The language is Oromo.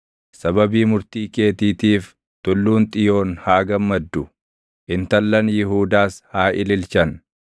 Sababii murtii keetiitiif, Tulluun Xiyoon haa gammaddu; intallan Yihuudaas haa ililchan.